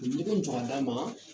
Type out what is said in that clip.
U ye ɲɛgɛn jɔ ka d'an ma